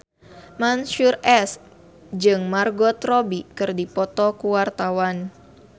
Mansyur S jeung Margot Robbie keur dipoto ku wartawan